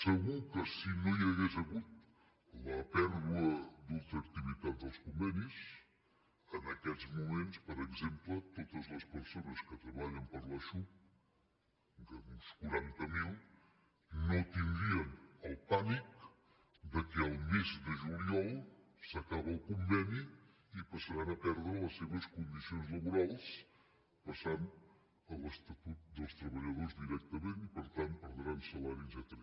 segur que si no hi hagués hagut la pèrdua d’ultraactivitat dels convenis en aquests moments per exemple totes les persones que treballen per a la xhup uns quaranta mil no tindrien el pànic que el mes de juliol s’acaba el conveni i passaran a perdre les seves condicions laborals i passaran a l’estatut dels treballadors directament i per tant perdran salari etcètera